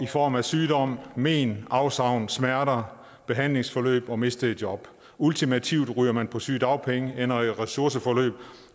form af sygdom men afsavn smerter behandlingsforløb og mistede job ultimativt ryger man på sygedagpenge ender i ressourceforløb